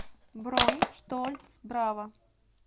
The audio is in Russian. бронь штольц брава